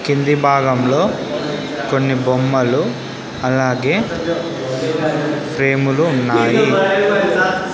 కింది భాగంలో కొన్ని బొమ్మలు అలాగే ఫ్రేమ్ లు ఉన్నాయి.